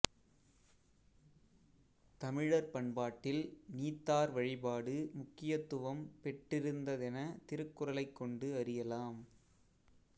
தமிழர் பண்பாட்டில் நீத்தார் வழிபாடு முக்கியத்துவம் பெற்றிருந்ததென திருக்குறளை கொண்டு அறியலாம்